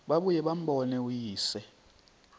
babuye bambone uyise